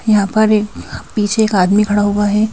यहां पर एक पीछे एक आदमी खड़ा हुआ है।